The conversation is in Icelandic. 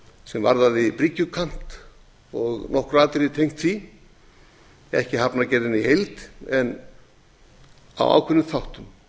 sem varðaði bryggjukant og nokkur atriði tengd honum ekki hafnargerðina í heild en á ákveðnum þáttum